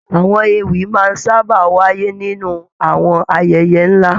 Àwọn ewì máa ń sábà wáyé nínú àwọn ayẹyẹ nlá.